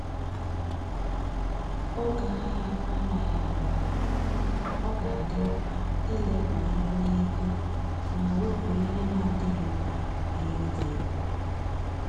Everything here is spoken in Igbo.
Oge ahia anaghị aga aga, ọ ga adị mkpa ileba anya n'ego ma wepu ihe na adịghị mkpa ga eri gị ego